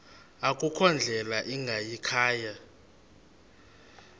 akukho ndlela ingayikhaya